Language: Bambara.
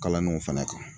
Kalanniw fana kan